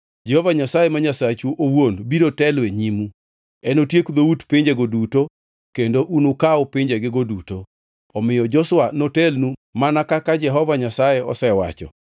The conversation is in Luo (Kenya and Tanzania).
Jehova Nyasaye ma Nyasachu owuon biro telo e nyimu. Enotiek dhout pinjego duto kendo unukaw pinjegigo duto. Omiyo Joshua notelnu mana kaka Jehova Nyasaye osewacho.